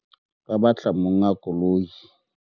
ba batla monga koloi